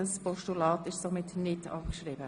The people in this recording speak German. Das Postulat wird somit nicht abgeschrieben.